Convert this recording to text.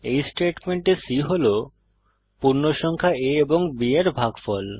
এই স্টেটমেন্টে c হল পূর্ণসংখ্যা a ও b এর ভাগফল